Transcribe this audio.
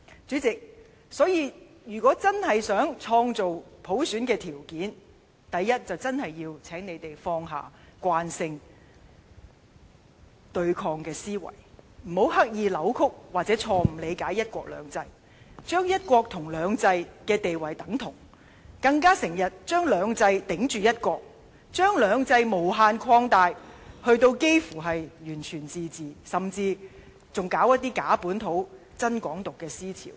主席，如果真正希望創造普選的條件，第一，請他們真要放下慣性對抗的思維，不要刻意扭曲或錯誤理解"一國兩制"，將"一國"和"兩制"的地位等同，更經常用"兩制"抵着"一國"，將"兩制"無限擴大至差不多完全自治，甚至推行一些假本土，真"港獨"的思潮。